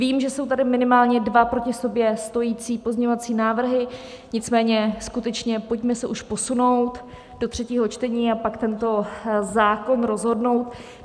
Vím, že jsou tady minimálně dva proti sobě stojící pozměňovací návrhy, nicméně skutečně pojďme se už posunout do třetího čtení a pak tento zákon rozhodnout.